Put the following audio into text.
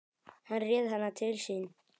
Hann réð hana til sín.